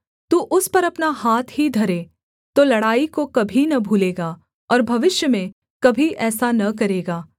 तू उस पर अपना हाथ ही धरे तो लड़ाई को कभी न भूलेगा और भविष्य में कभी ऐसा न करेगा